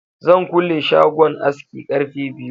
Zan kule shagon aski ƙarfe biyu